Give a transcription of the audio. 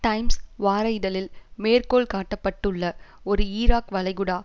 times வார இதழில் மேற்கோள் காட்டப்பட்டுள்ள ஒரு ஈராக் வளைகுடா